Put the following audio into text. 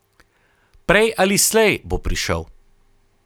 Prej ali slej bo prišel.